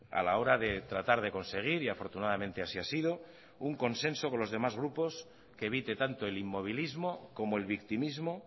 a la hora de tratar de conseguir y afortunadamente así ha sido un consenso con los demás grupos que evite tanto el inmovilismo como el victimismo